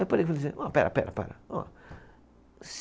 Eu parei e falei assim, pera, pera, para. Ó